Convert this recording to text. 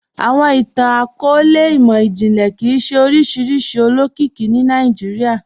Awọn ìtàn-akọọlẹ̀ imọ-jinlẹ kíí ṣẹ oriṣiríṣi olókìkì ní Nollywood